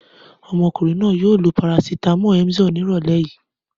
Ọmọkùnrin náà yóò lo parasítámọ̀ Emzor ní ìrọ́lẹ́ yìí.